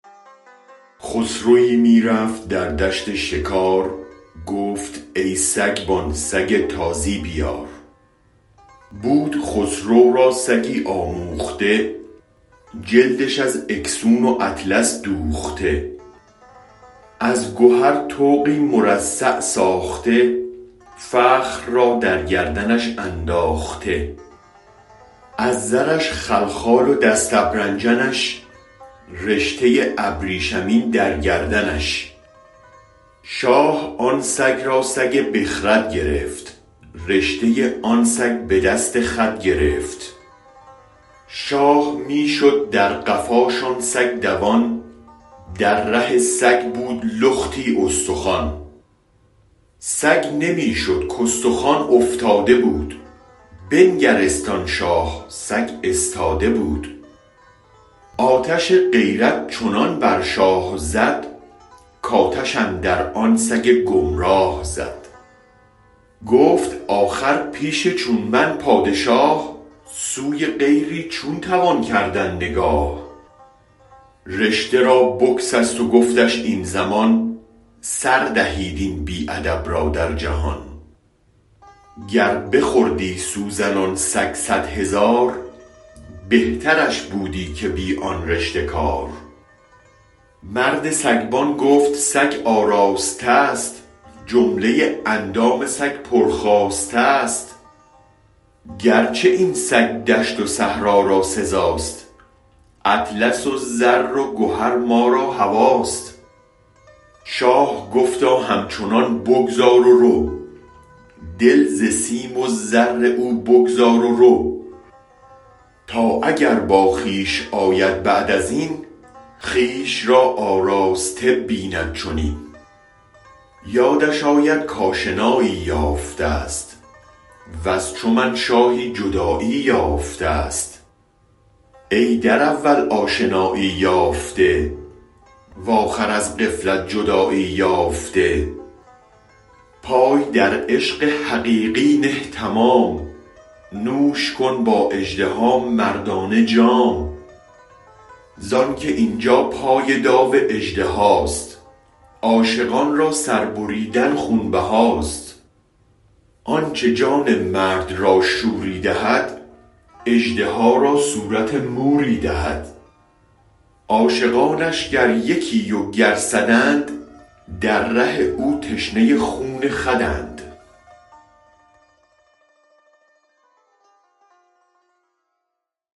خسروی می رفت در دشت شکار گفت ای سگبان سگ تازی بیار بود خسرو را سگی آموخته جلدش از اکسون و اطلس دوخته از گهر طوقی مرصع ساخته فخر را در گردنش انداخته از زرش خلخال و دست ابرنجنش رشته ابریشمین در گردنش شاه آن سگ را سگ بخرد گرفت رشته آن سگ به دست خود گرفت شاه می شد در قفاش آن سگ دوان در ره سگ بود لختی استخوان سگ نمی شد کاستخوان افتاده بود بنگرست آن شاه سگ استاده بود آتش غیرت چنان بر شاه زد کاتش اندر آن سگ گمراه زد گفت آخر پیش چون من پادشاه سوی غیری چون توان کردن نگاه رشته را بگسست و گفتش این زمان سر دهید این بی ادب را در جهان گر بخوردی سوزن آن سگ صد هزار بهترش بودی که بی آن رشته کار مرد سگبان گفت سگ آراستست جمله اندام سگ پر خواستست گرچه این سگ دشت و صحرا را سزاست اطلس و زر و گهر ما را هواست شاه گفتا هم چنان بگذار و رو دل ز سیم و زر او بگذار و رو تا اگر باخویش آید بعد ازین خویش را آراسته بیند چنین یادش آید کاشنایی یافتست وز چو من شاهی جدایی یافتست ای در اول آشنایی یافته و آخر از غفلت جدایی یافته پای در عشق حقیقی نه تمام نوش کن با اژدها مردانه جام زانکه اینجا پای داو اژدهاست عاشقان را سربریدن خون بهاست آنچ جان مرد را شوری دهد اژدها را صورت موری دهد عاشقانش گر یکی و گر صداند در ره او تشنه خون خوداند